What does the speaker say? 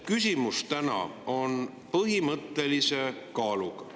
Küsimus täna on põhimõttelise kaaluga.